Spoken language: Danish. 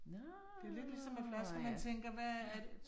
Nåh, ja, ja